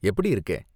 எப்படி இருக்கே?